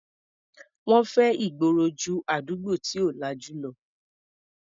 Wọ́n fẹ́ ìgboro ju àdúgbò tí ò lajú lọ.